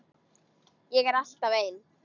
Ég er alltaf ein.